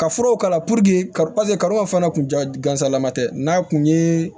Ka furaw k'a la karo fana tun ka gansan lama tɛ n'a kun ye